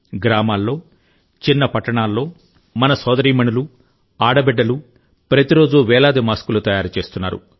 గ్రామాల్లో చిన్న పట్టణాల్లో మన సోదరీమణులు ఆడబిడ్డలు ప్రతిరోజూ వేలాది మాస్కులు తయారు చేస్తున్నారు